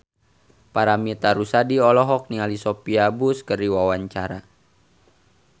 Paramitha Rusady olohok ningali Sophia Bush keur diwawancara